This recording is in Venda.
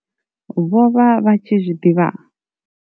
Vho vha vha tshi zwi ḓivha?